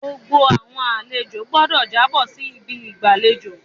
Gbogbo àwọn àlejo gbọdọ jàbo si ibi igbalejo